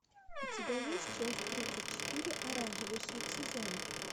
у тебя есть часть тридцать четыре оранжевый хит сезона